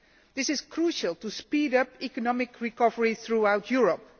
This is crucial to speed up economic recovery throughout Europe.